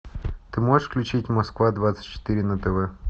ты можешь включить москва двадцать четыре на тв